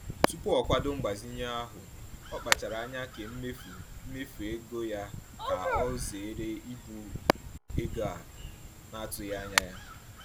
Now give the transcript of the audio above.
Tupu o kwado mgbazinye ahụ, ọ kpachara anya kee mmefu mmefu ego ya ka o zere ibu ego a na-atụghị anya ya.